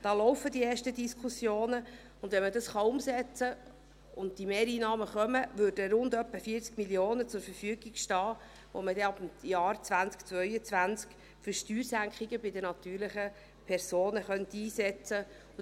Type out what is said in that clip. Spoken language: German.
Hier laufen die ersten Diskussionen, und wenn man dies umsetzen kann und diese Mehreinnahmen kommen, stünden rund etwa 40 Mio. Franken zur Verfügung, die man ab dem Jahr 2022 für Steuersenkungen bei den natürlichen Personen einsetzen könnte.